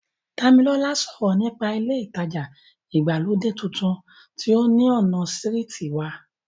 Dàmọ́lá sọ̀rọ̀ nípa ilé ìtajà ìgbàlódé tuntun tí ó ní ọ̀nà sírìtì wa